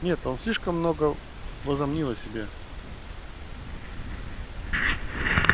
нет он слишком много возомнил о себе